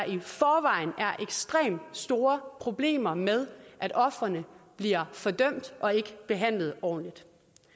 ekstremt store problemer med at ofrene bliver fordømt og ikke behandlet ordentligt